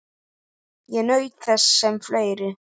Ég naut þess sem fleiri.